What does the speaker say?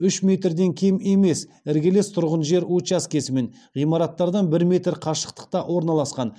үш метрден кем емес іргелес тұрған жер учаскесі мен ғимараттардан бір метр қашықтықта орналасқан